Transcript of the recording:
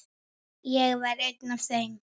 Ég var einn af þeim.